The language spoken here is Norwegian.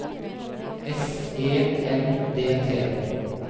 S E N D T